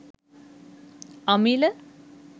amila